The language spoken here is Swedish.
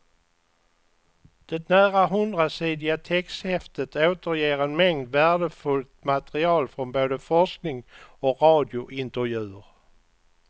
Det nära hundrasidiga texthäftet återger en mängd värdefullt material från både forskning och radiointervjuer.